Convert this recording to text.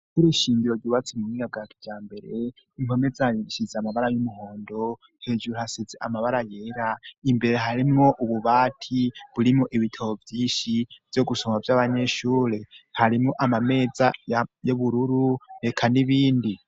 Ishure shindiro gibatsi mu miabwati bya mbere intome zayishize amabara y'umuhondo hejuru hasize amabara yera imbere harimo ububati burimo ibitabo byishi byo gusoma by'abanyeshure harimo amameza yobururu reka n'ibindi.